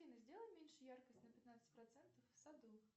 афина сделай меньше яркость на пятнадцать процентов в саду